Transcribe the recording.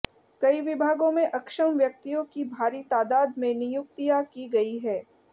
कई विभागों में अक्षम व्यक्तियों की भारी तादाद में नियुक्तिया की गई हैं